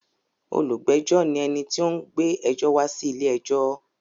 Olùgbẹ́jọ́ ní ẹni tí ó ń gbé ẹjọ́ wá sí ilé-ẹjọ́.